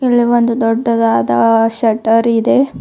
ಇಲ್ಲಿ ಒಂದು ದೊಡ್ಡದಾದ ಶೆಟ್ಟರ್ ಇದೆ.